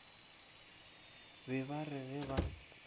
be ba re ge ba